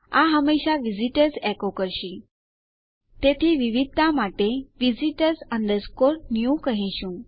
આ હંમેશા વિઝિટર્સ એકો કરશે તેથી વિવિધતા માટે આપણે visitors new કહીશું